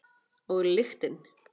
Og lyktin.